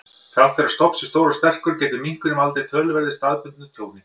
Þrátt fyrir að stofn sé stór og sterkur, getur minkurinn valdið töluverðu staðbundnu tjóni.